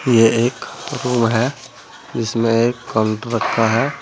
ये एक रूम है इसमे एक काउंटर रखा है।